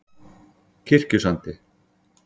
Kirkjusandi